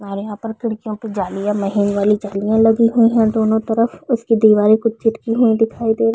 और यहाँ पर खिड़कियों पे जालियां नई वाली जालियां लगी हुई है दोनों तरफ उसकी दीवारे कुछ चटकी हुई दिखाई दे रही--